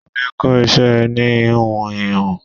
Tunde kọ́ iṣẹ́ ẹni íhùn íhùn.